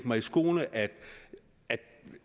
mig i skoene at